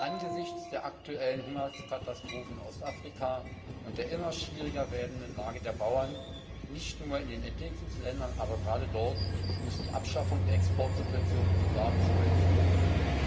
Angesichts der aktuellen Hungerkatastrophe in Ostafrika und der immer schwieriger werdenden Lage der Bauern nicht nur in den Entwicklungsländern, aber gerade dort muss die Abschaffung der Exportsubventionen sogar beschleunigt erfolgen.